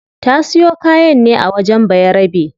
Ta siyo kayan ne a wajen bayarabe